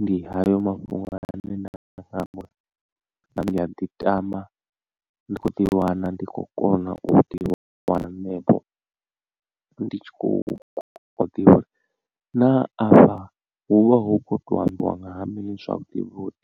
ndi hayo mafhungo ane nda nga amba uri ndi a ḓiṱama ndi khou ḓi wana ndi khou kona u ḓi wana hanefho ndi tshi khou ḓivha na afha hu vha hu khou to ambiwa ngaha mini zwavhuḓi vhuḓi.